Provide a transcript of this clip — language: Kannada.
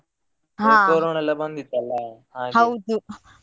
ಎಲ್ಲ ಬಂದಿತ್ತಲ್ಲ.